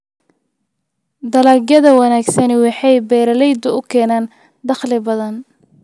Dalagyada wanaagsani waxay beeralayda u keenaan dakhli badan.